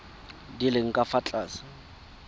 di leng ka fa tlase